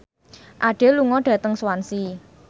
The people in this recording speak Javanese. Adele lunga dhateng Swansea